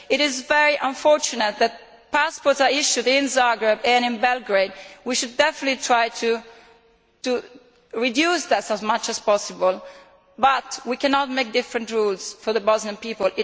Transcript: It is very unfortunate that passports are issued in Zagreb and in Belgrade, and we should definitely try to reduce that as much as possible, but we cannot make different rules for the Bosnian people.